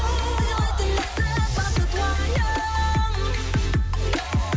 сыйлайтын ләззат бақыт уайым